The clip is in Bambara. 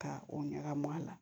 Ka o ɲagami a la